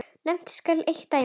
Nefnt skal eitt dæmi.